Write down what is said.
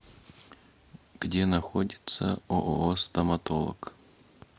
где находится ооо стоматолог